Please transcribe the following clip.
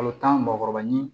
Kalo tan mugan ni